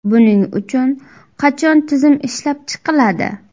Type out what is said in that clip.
Buning uchun qachon tizim ishlab chiqiladi?